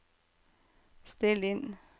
still inn